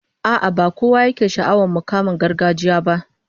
A'a, ba kowa yake sha'awar mukaman gargajiya ba